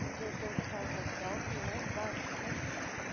porque os outros estavam no palco, lá embaixo mesmo.